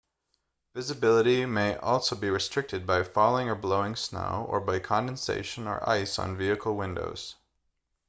visibility may also be restricted by falling or blowing snow or by condensation or ice on vehicle windows